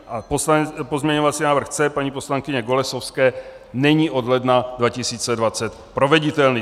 A pozměňovací návrh C paní poslankyně Golasowské není od ledna 2020 proveditelný.